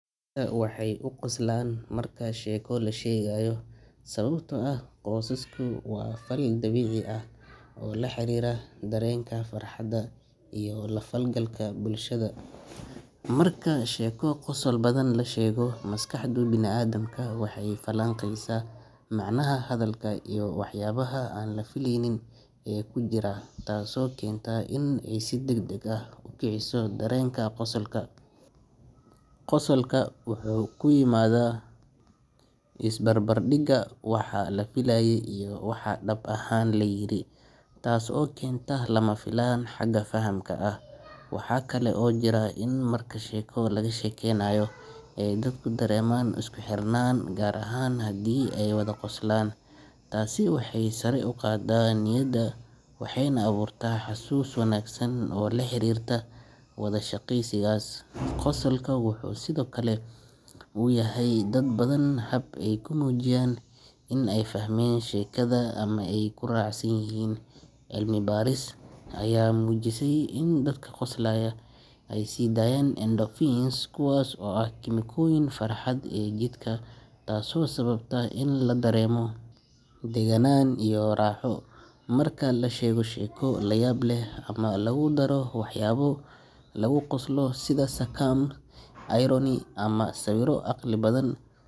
Dadka waxay u qoslaan marka sheeko la sheegayo sababtoo ah qososku waa fal dabiici ah oo la xiriira dareenka farxadda iyo la falgalka bulshada. Marka sheeko qosol badan la sheego, maskaxda bini’aadamku waxay falanqaysaa macnaha hadalka iyo waxyaabaha aan la filaynin ee ku jira, taasoo keenta in ay si degdeg ah u kiciso dareenka qosolka. Qosolka wuxuu ka yimaadaa isbarbardhigga waxa la filayay iyo waxa dhab ahaan la yiri, taas oo keenta lama filaan xagga fahamka ah. Waxa kale oo jira in marka sheeko laga sheekeynayo ay dadku dareemaan isku xirnaan, gaar ahaan haddii ay wada qoslaan. Taasi waxay sare u qaaddaa niyadda waxayna abuurtaa xasuus wanaagsan oo la xiriirta wada sheekaysigaas. Qosolka wuxuu sidoo kale u yahay dad badan hab ay ku muujiyaan in ay fahmeen sheekada ama ay ku raacsan yihiin. Cilmi baaris ayaa muujisay in dadka qoslaya ay sii daayaan endorphins, kuwaas oo ah kiimikooyinka farxadda ee jidhka, taasoo sababta in la dareemo degganaan iyo raaxo. Marka la sheego sheeko la yaab leh ama lagu daro waxyaabo lagu qoslo sida sarcasm, irony, ama sawir caqli badan.